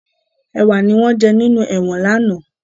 Ẹwà ni wọn jẹ́ nínú ẹ̀wọ̀n lánàá